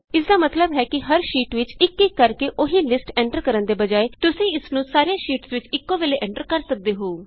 ਇਸਦਾ ਮਤਲਬ ਹੈ ਕਿ ਹਰ ਸ਼ੀਟ ਵਿਚ ਇਕ ਇਕ ਕਰਕੇ ਉਹੀ ਲਿਸਟ ਐਂਟਰ ਕਰਨ ਦੀ ਬਜਾਏ ਤੁਸੀਂ ਇਸਨੂੰ ਸਾਰੀਆਂ ਸ਼ੀਟਸ ਵਿਚ ਇਕੋ ਵੇਲੇ ਐਂਟਰ ਕਰ ਸਕਦੇ ਹੋ